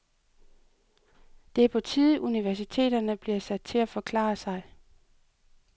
Det er på tide, universiteterne bliver sat til at forklare sig.